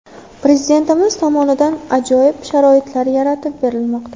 Prezidentimiz tomonidan ajoyib sharoitlar yaratib berilmoqda.